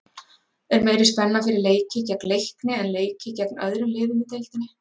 Er meiri spenna fyrir leiki gegn Leikni en leiki gegn öðrum liðum í deildinni?